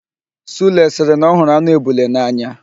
Sule sịrị na ọ hụrụ anụ ebule n'anya.